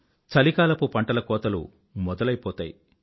చలికాలపు పంటల కోతలు మొదలైపోతాయి